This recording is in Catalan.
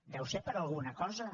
deu ser per alguna cosa